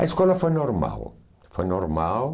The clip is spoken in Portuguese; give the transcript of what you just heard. A escola foi normal, foi normal.